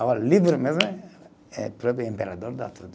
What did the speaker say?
Agora, livro mesmo é, é próprio imperador dá tudo.